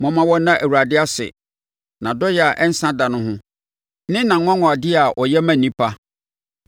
Momma wɔnna Awurade ase, nʼadɔeɛ a ɛnsa da ho ne nʼanwanwadeɛ a ɔyɛ ma nnipa.